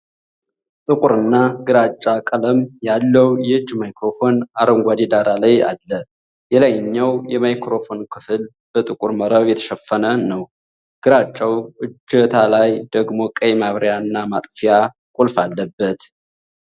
ጥቁርና ግራጫ ቀለም ያለው የእጅ ማይክሮፎን አረንጓዴ ዳራ ላይ አለ። የላይኛው የማይክሮፎን ክፍል በጥቁር መረብ የተሸፈነ ነው፣ ግራጫው እጀታ ላይ ደግሞ ቀይ ማብሪያ/ማጥፊያ ቁልፍ አለበት።